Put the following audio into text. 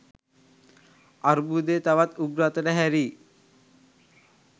අර්බුධය තවත් උග්‍ර අතට හැරී